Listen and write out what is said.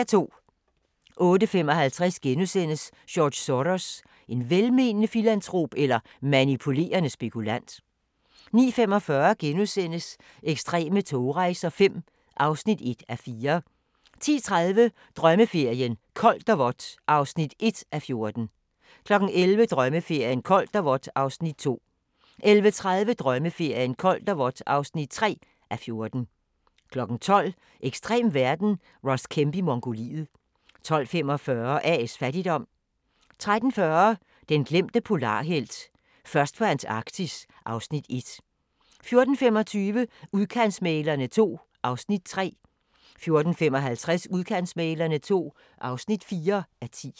08:55: George Soros – en velmenende filantrop eller manipulerende spekulant? * 09:45: Ekstreme togrejser V (1:4)* 10:30: Drømmeferien: Koldt og vådt (1:14) 11:00: Drømmeferien: Koldt og vådt (2:14) 11:30: Drømmeferien: Koldt og vådt (3:14) 12:00: Ekstrem verden – Ross Kemp i Mongoliet 12:45: A/S Fattigdom 13:40: Den glemte polarhelt: Først på Antarktis (Afs. 1) 14:25: Udkantsmæglerne II (3:10) 14:55: Udkantsmæglerne II (4:10)